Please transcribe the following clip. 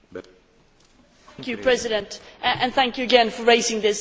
Mr President, thank you again for raising this very important issue.